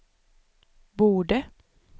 borde